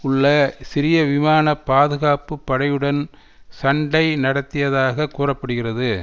உள்ள சிரிய விமான பாதுகாப்புப்படையுடன் சண்டை நடத்தியதாக கூற படுகிறது